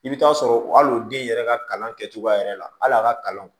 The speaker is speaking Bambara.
I bɛ taa sɔrɔ hali o den yɛrɛ ka kalan kɛcogoya yɛrɛ la hali a ka kalan